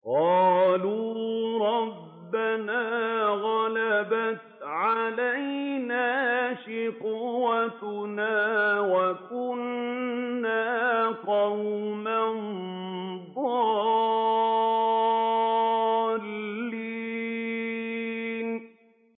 قَالُوا رَبَّنَا غَلَبَتْ عَلَيْنَا شِقْوَتُنَا وَكُنَّا قَوْمًا ضَالِّينَ